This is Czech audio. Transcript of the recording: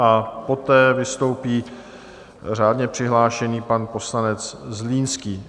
A poté vystoupí řádně přihlášený pan poslanec Zlínský.